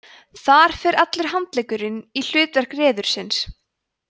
þar fer allur handleggurinn í hlutverk reðursins